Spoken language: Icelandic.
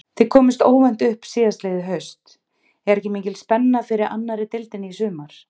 Þið komust óvænt upp síðastliðið haust, er ekki mikil spenna fyrir annarri deildinni í sumar?